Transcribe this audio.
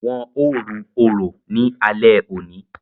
Wọn o ru orò ní alé òní